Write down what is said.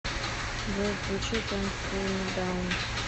джой включи кэнт кул ми даун